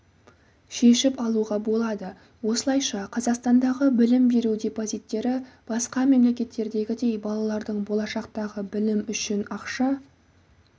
шешіп алуға болады осылайша қазақстандағы білім беру депозиттері басқа мемлекеттердегідей балалардың болашақтағы білімі үшін ақша